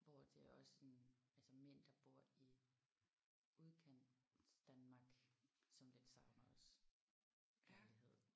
Hvor det også sådan altså mænd der bor i Udkantsdanmark som lidt savner også kærlighed